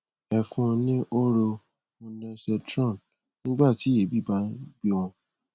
ẹ fún un ní hóró ondensetron nígbà tí èébì bá nh gbé wọn